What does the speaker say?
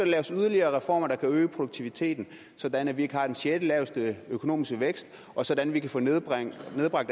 laves yderligere reformer der kan øge produktiviteten sådan at vi ikke har den sjettelaveste økonomiske vækst og sådan at vi kan få nedbragt